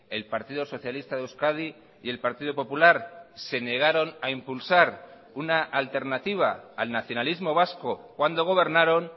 el partido socialista de euskadi y el partido popular se negaron a impulsar una alternativa al nacionalismo vasco cuando gobernaron